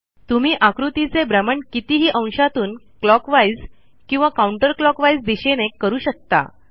तुम्ही आकृतीचे भ्रमण कितीही अंशातून क्लॉकवाईज किंवा काउंटरक्लॉकवाईज दिशेने करू शकता